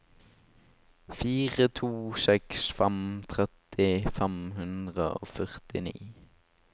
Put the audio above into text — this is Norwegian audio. fire to seks fem tretti fem hundre og førtini